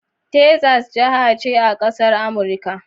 Texas jiha ce a ƙasar Amurika.